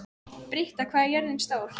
Britta, hvað er jörðin stór?